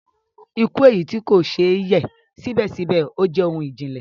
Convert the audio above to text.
Ikú, eyi ti kò ṣè yẹ sibẹsibẹ ojè ohun ijìnlẹ